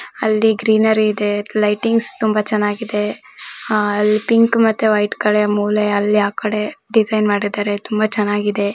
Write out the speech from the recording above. ಅಲ್ಲಿ ಗ್ರೀನರಿ ಇದೆ ಲೈಟಿಂಗ್ಸ್ ತುಂಬಾ ಚನ್ನಾಗಿದೆ ಆ ಅಲ್ಲಿ ಪಿಂಕ್ ಮತ್ತೆ ವೈಟ್ ಕಡೆ ಮೂಲೆ ಅಲ್ಲಿ ಆ ಕಡೆ ಡಿಸೈನ್ ಮಾಡಿದರೆ ತುಂಬಾ ಚನ್ನಾಗಿದೆ.